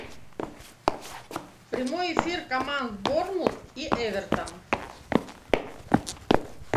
прямой эфир команд борнмут и эвертон